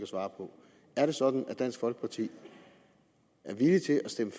svare på er det sådan at dansk folkeparti er villig til at stemme